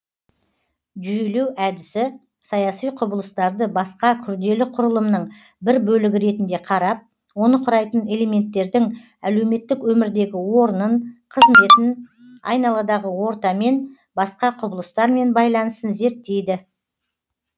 жүйелеу әдісі саяси құбылыстарды басқа күрделі құрылымның бір бөлігі ретінде қарап оны құрайтын элементтердің әлеуметтік өмірдегі орнын қызметін айналадағы ортамен басқа құбылыстармен байланысын зерттейді